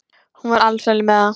Hún var alsæl með það.